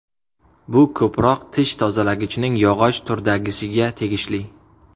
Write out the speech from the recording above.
Bu ko‘proq tish tozalagichning yog‘och turdagisiga tegishli.